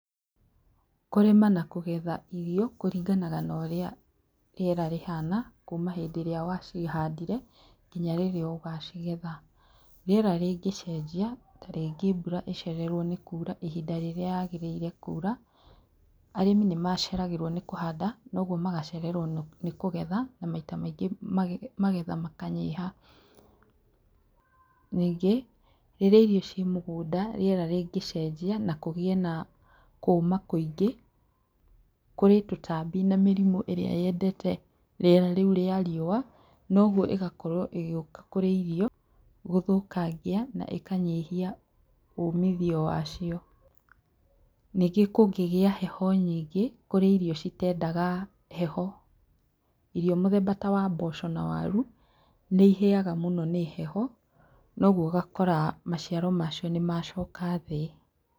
Kũrĩma na kũgetha irio kũringanaga na ũrĩa rĩera rĩhana, kuma hindĩ ĩrĩa wa cihandire, ngina rĩria ũgacigetha, rĩera rĩngĩcenjia ta rĩngĩ mbura ĩcererwo nĩ kura ihinda rĩrĩa yagĩrĩire kura, arĩmi nĩ maceragĩrwo nĩ kũhanda, noguo magacererwo nĩ kũgetha, na maita maingĩ magetha makanyiha, ningĩ rĩria irio ci mũgũnda rĩera rĩngĩcenjia, na kũgĩe na kũma kũingĩ, kũrĩ tũtambi na mĩrimũ ĩria yendete rĩera rĩu rĩa riũa noguo ĩgakorwo ĩgĩũka kũrĩ irio gũthũkangia na ĩkanyihia umithio wacio, ningĩ kũngĩgĩa heho nyingĩ kũrĩ irio citendaga heho, irio mũthemba ta wamboco na waru, nĩ ihĩyaga mũno nĩ heho, noguo ũgakora maciaro macio nĩ macoka thĩ.